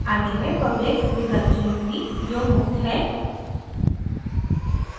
आगे मैं public विकल्प चुनूँगी जो मुफ्त है